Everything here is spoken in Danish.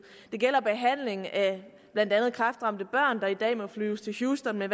det gælder behandling af blandt andet kræftramte børn der i dag må flyves til houston med